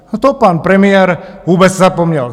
Na to pan premiér vůbec zapomněl.